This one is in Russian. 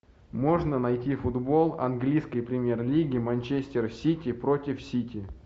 можно найти футбол английской премьер лиги манчестер сити против сити